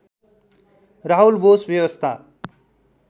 राहुल बोस व्यवस्था